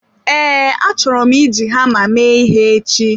Ee, achọrọ m iji hama mee ihe echi.